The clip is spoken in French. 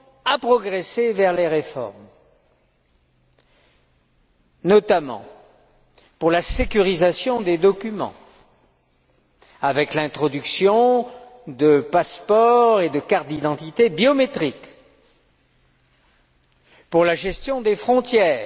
à progresser vers les réformes, notamment pour la sécurisation des documents, avec l'introduction de passeports et de cartes d'identité biométriques pour la gestion des frontières